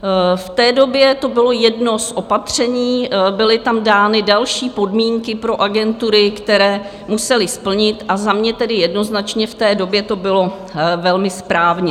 V té době to bylo jedno z opatření, byly tam dány další podmínky pro agentury, které musely splnit, a za mě tedy jednoznačně v té době to bylo velmi správně.